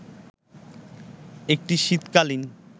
একটি শীতকালীন